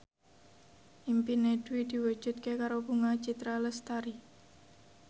impine Dwi diwujudke karo Bunga Citra Lestari